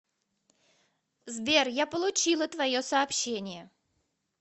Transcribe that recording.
сбер я получила твое сообщение